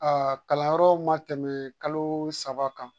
Aa kalanyɔrɔw ma tɛmɛ kalo saba kan